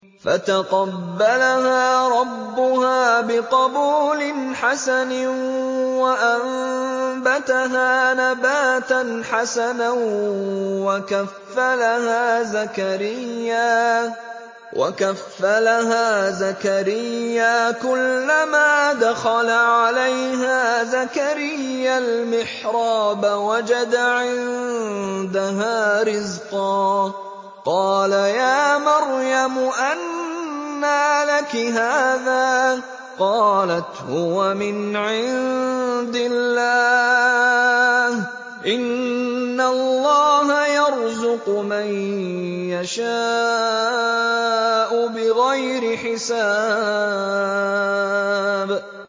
فَتَقَبَّلَهَا رَبُّهَا بِقَبُولٍ حَسَنٍ وَأَنبَتَهَا نَبَاتًا حَسَنًا وَكَفَّلَهَا زَكَرِيَّا ۖ كُلَّمَا دَخَلَ عَلَيْهَا زَكَرِيَّا الْمِحْرَابَ وَجَدَ عِندَهَا رِزْقًا ۖ قَالَ يَا مَرْيَمُ أَنَّىٰ لَكِ هَٰذَا ۖ قَالَتْ هُوَ مِنْ عِندِ اللَّهِ ۖ إِنَّ اللَّهَ يَرْزُقُ مَن يَشَاءُ بِغَيْرِ حِسَابٍ